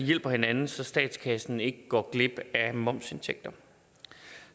hjælper hinanden så statskassen ikke går glip af momsindtægter